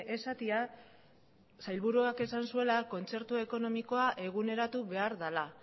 esatea sailburuak esan zuela kontzertu ekonomikoa eguneratu behar dela